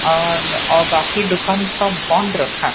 और अह बाकी दुकान सब बंद रखा है।